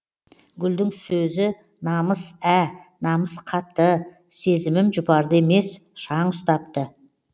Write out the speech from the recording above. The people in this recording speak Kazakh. гүлдің сөзі намыс ә намыс қатты сезімім жұпарды емес шаң ұстапты